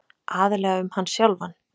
Aðallega um hann sjálfan.